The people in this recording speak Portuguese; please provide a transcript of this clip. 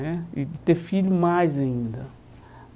Né e de ter filho mais ainda.